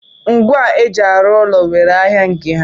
Ngwa eji arụ ụlọ nwere ahịa nke ya.